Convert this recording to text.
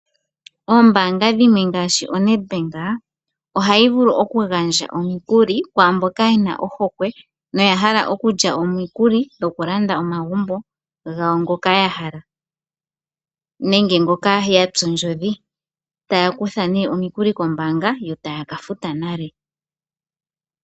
Oombaanga dhimwe ngaashi oNEDBANK ohayi vulu okugandja omukuli kwaa mboka ye na ohokwe noya hala okulya omikuli dhokulanda omagumbo gawo ngoka ya hala nenge ngoka ya tsa ondjodhi, taya kutha nee omikuli kombaanga yo taya ka futa nale.